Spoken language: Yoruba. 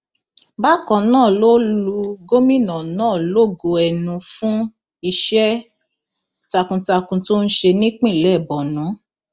bákan náà ló lu gómìnà náà lógo ẹnu fún iṣẹ takuntakun tó ń ṣe nípìnlẹ borno